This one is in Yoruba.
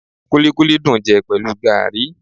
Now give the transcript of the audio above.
Kúlíkúlí dùn jẹ pẹ̀lú gaàrí